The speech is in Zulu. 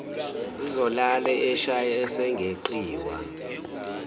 uzolala eshaye esingeqiwa